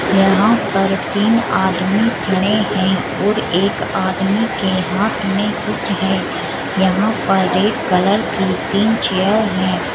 यहाँ पर तीन आदमी खड़े हैं और एक आदमी के हाथ में कुछ है। यहाँ पर एक कलर तीन चेयर हैं।